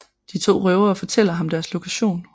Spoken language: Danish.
De to røvere fortæller ham deres lokation